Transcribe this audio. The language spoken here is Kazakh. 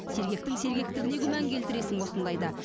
сергектің сергектігіне күмән келтіресің осындайда